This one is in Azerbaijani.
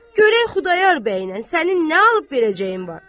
Görək Xudayar bəylə sənin nə alıb verəcəyin var.